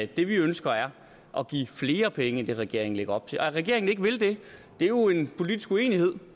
det vi ønsker er at give flere penge end det regeringen lægger op til at regeringen ikke vil det er jo en politisk uenighed